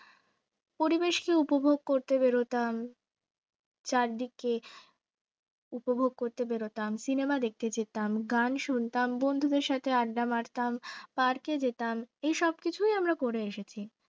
পরিবেশকে উপভোগ করতে বের হতাম চারদিকে উপভোগ করতে বের হতাম cinema দেখতে যেতাম গান শুনতাম বন্ধুর সাথে আড্ডা মারতাম park এ যেতাম এসব কিছুই আমরা করে এসেছি